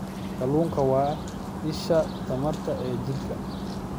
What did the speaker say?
Kalluunku waa isha tamarta ee jirka.